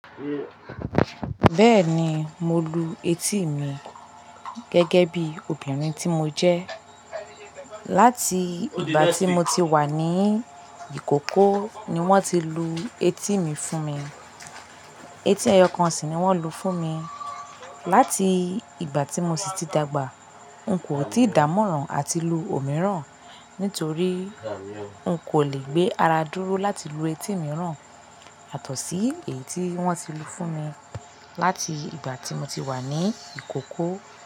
Bẹ́ẹ̀ni, mo lu etí mi gẹ́gẹ́ bí obìnrin tí mo jẹ́. Láti ìgbà tí mo ti wà ní ìkókó ni wọ́n ti lu etí mi fún mi. Etí ẹyọkan sì ni wọ́n lu fún mi. Láti ìgbà tí mo sì ti dàgbà, n kò tíì dàámọ́ràn àti lu òmíràn, nítorí n kò lè gbé ara dúró láti lu etí mìíràn y'àtọ̀sí èyí tí wọ́n ti lu fún mi láti ìgbà tí mo ti wà ní ìkókó.